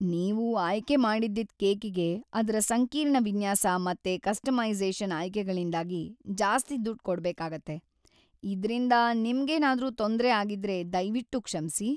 ನೀವು ಆಯ್ಕೆ ಮಾಡಿದ್ದಿದ್ ಕೇಕಿಗೆ ಅದ್ರ ಸಂಕೀರ್ಣ ವಿನ್ಯಾಸ ಮತ್ತೆ ಕಸ್ಟಮೈಸೇ಼ಷನ್‌ ಆಯ್ಕೆಗಳಿಂದಾಗಿ ಜಾಸ್ತಿ ದುಡ್ಡ್‌ ಕೊಡ್ಬೇಕಾಗತ್ತೆ. ಇದ್ರಿಂದ ನಿಮ್ಗೇನಾದ್ರೂ ತೊಂದ್ರೆ ಆಗಿದ್ರೆ ದಯ್ವಿಟ್ಟು ಕ್ಷಮ್ಸಿ.